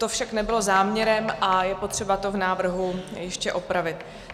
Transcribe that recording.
To však nebylo záměrem a je potřeba to v návrhu ještě opravit.